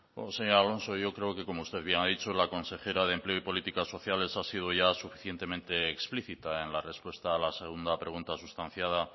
señor alonso yo creo que como usted bien ha dicho la consejera de empleo y políticas sociales ha sido ya suficientemente explícita en la respuesta a la segunda pregunta sustanciada